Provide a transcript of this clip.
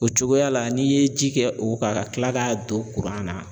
O cogoya la n'i ye ji kɛ o kan ka kila k'a don kuran na